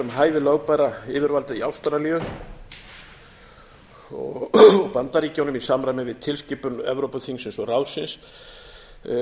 hæfi lögbærra yfirvalda í ástralíu og bandaríkjunum í samræmi við tilskipun evrópuþingsins og ráðsins